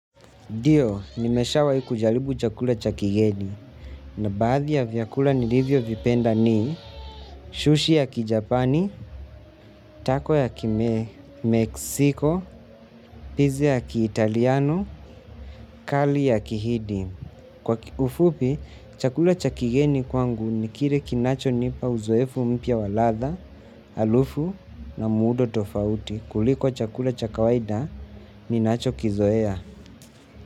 Dio, nimeshawai kujalibu chakula cha kigeni na baadhi ya vyakula nilivyovipenda ni shushi ya kijapani, tako ya kime, meksiko, pizi ya ki italiano, kali ya kihidi. Kwa ki ufupi, chakula cha kigeni kwangu ni kire kinachonipa uzoefu mpya wa latha, alufu na muudo tofauti kuliko chakula cha kawaida ninachokizoea.